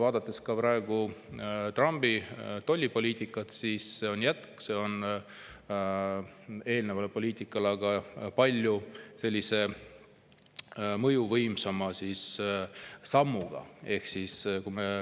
Trumpi praegune tollipoliitika on jätk eelnevale poliitikale, aga palju mõjuvõimsama sammuga.